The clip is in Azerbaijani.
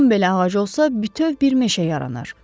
On belə ağacı olsa, bütöv bir meşə yaranır.